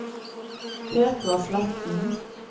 Petra Sletten